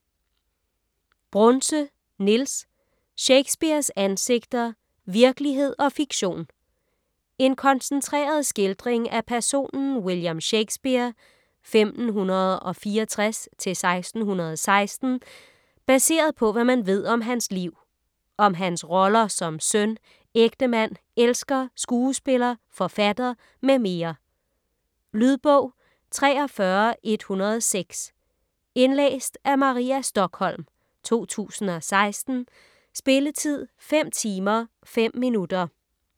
Brunse, Niels: Shakespeares ansigter: virkelighed og fiktion En koncentreret skildring af personen William Shakespeare (1564-1616) baseret på, hvad man ved om hans liv. Om hans roller som søn, ægtemand, elsker, skuespiller, forfatter mm. Lydbog 43106 Indlæst af Maria Stokholm, 2016. Spilletid: 5 timer, 5 minutter.